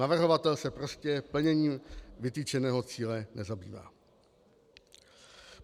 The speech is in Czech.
Navrhovatel se prostě plněním vytyčeného cíle nezabývá.